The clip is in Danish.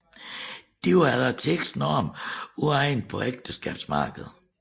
De var efter tidens normer uegnede på ægteskabsmarkedet